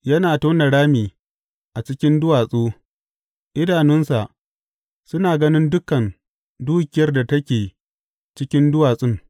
Yana tona rami a cikin duwatsu idanunsa suna ganin dukan dukiyar da ke cikin duwatsun.